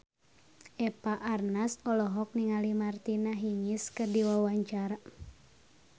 Eva Arnaz olohok ningali Martina Hingis keur diwawancara